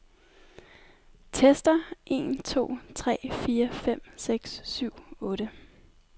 Tester en to tre fire fem seks syv otte.